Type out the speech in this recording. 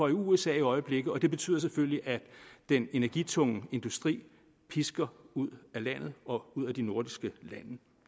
i usa i øjeblikket og det betyder selvfølgelig at den energitunge industri pisker ud af landet og ud af de nordiske lande